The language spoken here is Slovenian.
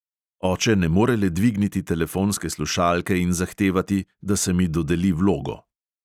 Oče ne more le dvigniti telefonske slušalke in zahtevati, da se mi dodeli vlogo.